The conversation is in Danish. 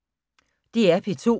DR P2